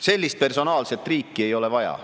Sellist personaalset riiki ei ole vaja.